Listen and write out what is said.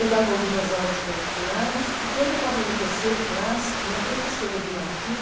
Eu dava algumas aulas particulares e, quando eu estava no terceiro clássico, minha professora de latim,